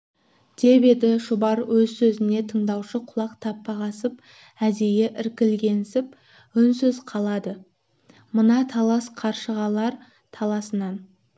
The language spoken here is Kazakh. деп еді шұбар өз сөзіне тыңдаушы құлақ таппағансып әдейі іркілгенсіп үнсіз қалды мына талас қаршығалар таласынан